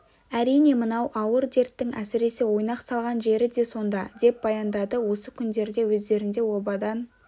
әрине мынау ауыр дерттің әсіресе ойнақ салған жері де сонда деп баяндады осы күндерде өздерінде обадан